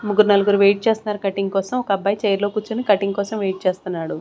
ముగ్గుర్ నలుగురు వెయిట్ చేస్తున్నారు కట్టింగ్ కోసం ఒక అబ్బాయి చైర్ లో కూర్చొని కట్టింగ్ కోసం వెయిట్ చేస్తున్నాడు.